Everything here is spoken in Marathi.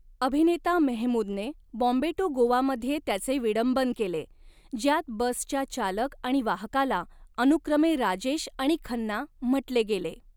अभिनेता मेहमूदने बॉम्बे टू गोवा मध्ये त्याचे विडंबन केले, ज्यात बसच्या चालक आणि वाहकाला अनुक्रमे 'राजेश' आणि 'खन्ना' म्हटले गेले.